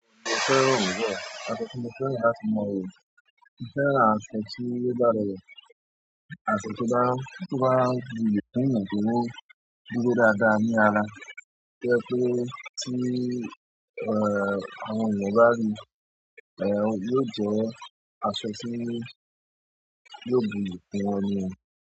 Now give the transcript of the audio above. Mo fẹ́ràn àṣọ tí ó dára rẹ̀, àṣọ tó bá, tó bá bù ìpín ìdúró dúró dáadáa ní ara, kí ó tó pé tí, ẹ́, àwọn ènìyàn bá rí i, ẹ́, yóò jẹ àṣọ tí yóò, yóò buyì kún wọn ni o.